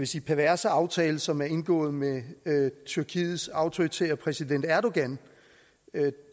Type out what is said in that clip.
sige perverse aftale som er indgået med tyrkiets autoritære præsident erdogan